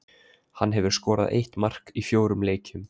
Hann hefur skorað eitt mark í fjórum leikjum.